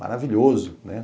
Maravilhoso, né?